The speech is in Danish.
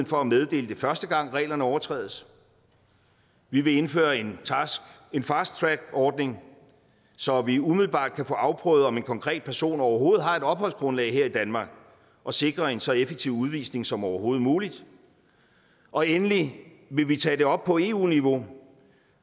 for at meddele det første gang reglerne overtrædes vi vil indføre en en fasttrackordning så vi umiddelbart kan få afprøvet om en konkret person overhovedet har et opholdsgrundlag her i danmark og sikre en så effektiv udvisning som overhovedet muligt og endelig vil vi tage det op på eu niveau